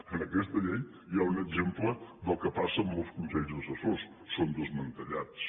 en aquesta llei hi ha un exemple del que passa amb molts consell assessors són desmantellats